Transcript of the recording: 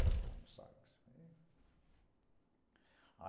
Era bom o sax.